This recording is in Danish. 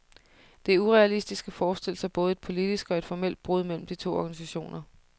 Det er urealistisk at forestille sig både et politisk og et formelt brud mellem de to organisationer.